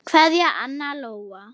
Kveðja, Anna Lóa.